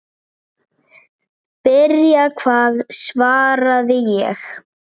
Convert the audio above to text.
Byrja hvað svaraði ég.